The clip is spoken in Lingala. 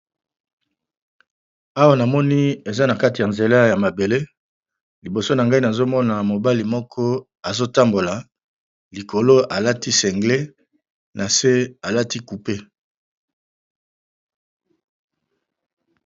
Awa namoni eza na kati ya nzela ya mabele, liboso na ngai nazomona na mobali moko azotambola likolo alati singlet na se alati coupé.